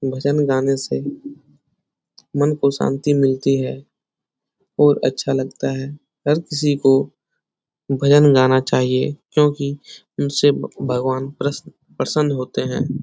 भजन गाने से मन को शांति मिलती है और अच्छा लगता है हर किसी को भजन गाना चाइये क्योंकि इनसे भगवान् प्रसन्न प्रसन्न होते है ।